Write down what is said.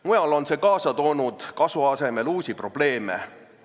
Mujal on see kasu asemel uusi probleeme kaasa toonud.